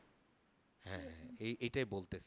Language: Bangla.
এই এটাই বলতেছি